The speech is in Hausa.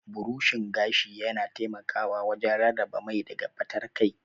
Burushin gashi yana taimakawa wajen rarraba mai daga fatar kai.